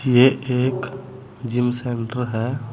ये एक gym centre है।